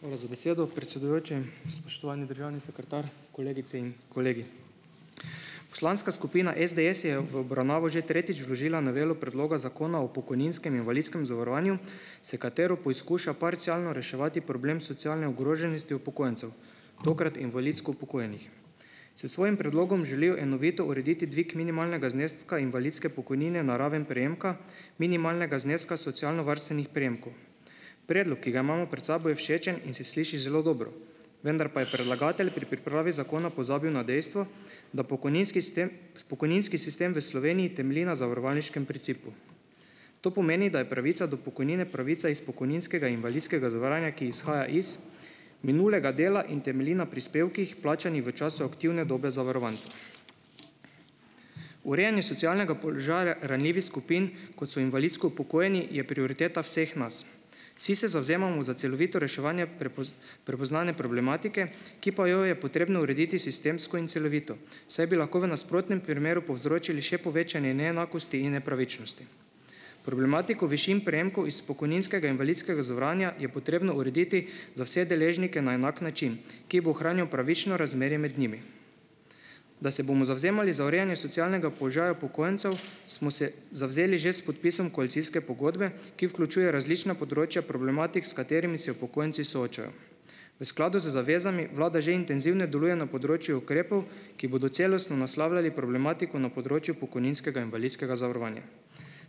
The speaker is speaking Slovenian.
Hvala za besedo, predsedujoči, spoštovani državni sekretar, kolegice in kolegi. Poslanska skupina SDS je v obravnavo že tretjič vložila novelo predloga Zakona o pokojninskem in invalidskem zavarovanju, s katero poizkuša parcialno reševati problem socialne ogroženosti upokojencev. Tokrat invalidsko upokojenih. S svojim predlogom želijo enovito urediti dvig minimalnega zneska invalidske pokojnine na raven prejemka minimalnega zneska socialnovarstevnih prejemkov. Predlog, ki ga imamo pred sabo je všečen in se sliši zelo dobro. Vendar pa je predlagatelj pri pripravi zakona pozabil na dejstvo, da pokojninski sistem, pokojninski sistem v Sloveniji temelji na zavarovalniškem principu. To pomeni, da je pravica do pokojnine pravica iz pokojninskega in invalidskega zavarovanja, ki izhaja iz minulega dela in temelji na prispevkih, plačanih v času aktivne dobe zavarovanja. Urejanje socialnega položaja ranljivih skupin, kot so invalidsko upokojeni, je prioriteta vseh nas. Vsi se zavzemamo za celovito reševanje prepoznane problematike, ki pa jo je potrebno urediti sistemsko in celovito, saj bi lahko v nasprotnem primeru povzročili še povečanje neenakosti in nepravičnosti. Problematiko višin prejemkov iz pokojninskega invalidskega zavarovanja je potrebno urediti za vse deležnike na enak način, ki bo ohranjal pravično razmerje med njimi. Da se bomo zavzemali za urejanje socialnega položaja upokojencev , smo se zavzeli že s podpisom koalicijske pogodbe, ki vključuje različna področja problematik, s katerimi se upokojenci soočajo. V skladu z zavezami vlada že intenzivno deluje na področju ukrepov, ki bodo celostno naslavljali problematiko na področju pokojninskega invalidskega zavarovanja.